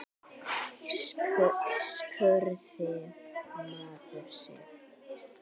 spurði maður sig.